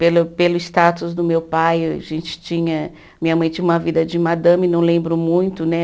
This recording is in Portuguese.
Pelo pelo status do meu pai, a gente tinha, minha mãe tinha uma vida de madame, não lembro muito, né?